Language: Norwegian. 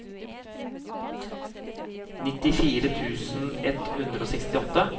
nittifire tusen ett hundre og sekstiåtte